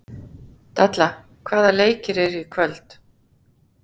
Dalla, hvaða leikir eru í kvöld?